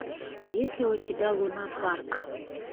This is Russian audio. есть ли у тебя лунапарк